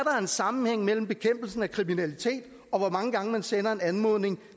sammenhæng mellem bekæmpelsen af kriminalitet og hvor mange gange man sender en anmodning